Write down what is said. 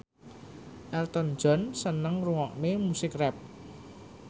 Elton John seneng ngrungokne musik rap